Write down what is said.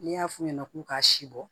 N'i y'a f'u ɲɛna k'u ka si bɔ